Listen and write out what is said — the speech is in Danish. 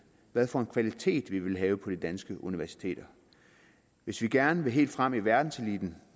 hvad for en kvalitet vi vil have på de danske universiteter hvis vi gerne vil helt frem i verdenseliten